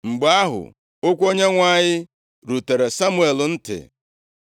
Mgbe ahụ, okwu Onyenwe anyị rutere Samuel ntị,